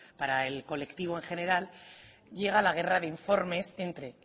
para el colectivo en general llega la guerra de informes entre